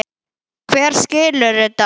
Hver skilur þetta?